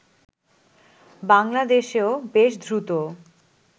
বাংলাদেশেও বেশ দ্রুত